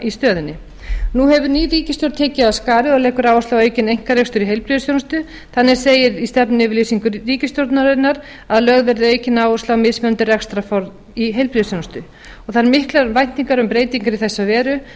í stöðunni nú hefur ný ríkisstjórn tekið af skarið og leggur áherslu á aukinn einkarekstur í heilbrigðisþjónustu þannig segir í stefnuyfirlýsingu ríkisstjórnarinnar að lögð verði aukin áhersla á mismunandi rekstrarform í heilbrigðisþjónustu og það eru miklar væntingar um breytingar í þessa veru